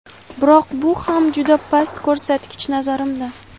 Biroq bu ham juda past ko‘rsatgich, nazarimda.